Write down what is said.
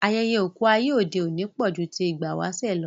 Ayẹyẹ oku ayé òde òní pọ̀ ju ti ìgbà ìwáṣẹ̀ lọ